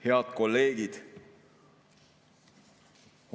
Head kolleegid!